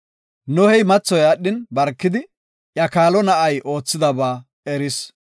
Nohey mathoy aadhin, barkidi, iya kaalo na7ay oothidaba eris.